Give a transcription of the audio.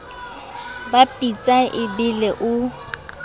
ba pitsa e bele o